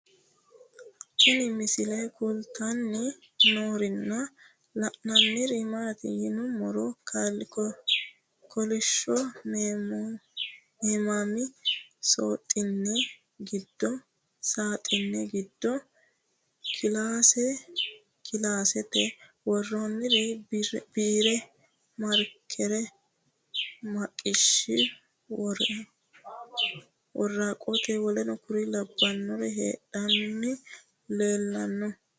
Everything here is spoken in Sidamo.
Tinni misile kulittanni noorrinna la'nanniri maattiya yinummoro kolishsho meemmame saaxine giddo kilaase kilaasete woroonniri biire, marikere, maqasse, woraqattu wkl heeranna leellanno